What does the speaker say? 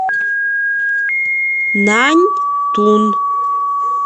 наньтун